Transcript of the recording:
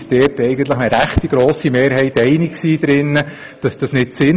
Damals waren wir uns mit einer recht grossen Mehrheit darin einig, das sei nicht sinnvoll.